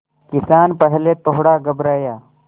किसान पहले थोड़ा घबराया